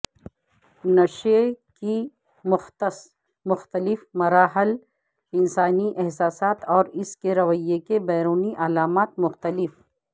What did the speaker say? نشے کی مختص مختلف مراحل انسانی احساسات اور اس کے رویے کے بیرونی علامات مختلف